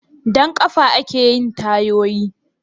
Da ƙafe ake yin tayoyi?